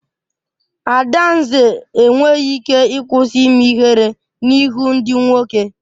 Adanze enweghị ike ịkwụsị ime ihere n'ihu ndị nwoke.